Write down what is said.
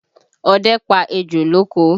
Ọdẹ pa ejò lóko